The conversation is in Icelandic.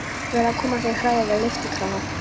Verið að koma fyrir hrærivél og lyftikrana.